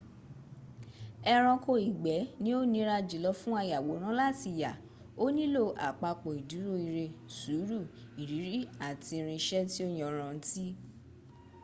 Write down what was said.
ẹranko ìgbẹ́ ni o nira jùlo fún ayàwòrán láti yà o nílò àpapọ̀ ìdúró ire sùúrù ìrírí àti irinṣẹ́ tí ó yanrantí